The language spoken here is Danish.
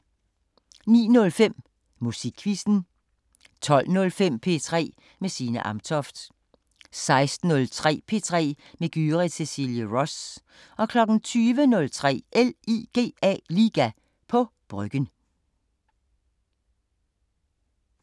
09:05: Musikquizzen 12:05: P3 med Signe Amtoft 16:03: P3 med Gyrith Cecilie Ross 20:03: LIGA på Bryggen